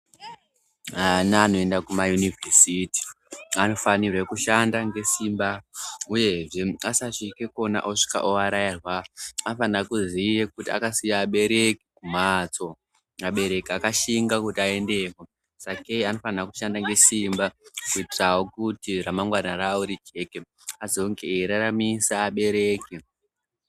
Vana vanoenda kumayunivhesiti anofanirwe kushanda ngesimba uyezve asasvike kona osvika ovarairwa, anofanire kuziva kuti akasiye abereki kumhatso. Vabereki akashinga kuti aendeko sakei anofanirwa kushanda ngesimba kuitirawo kuti ramangwana ravo rijeke azonge eyiraramisa abereki.